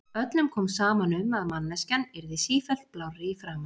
Öllum kom saman um að manneskjan yrði sífellt blárri í framan.